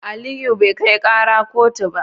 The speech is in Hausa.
Aliyu bai kai kara kotu ba.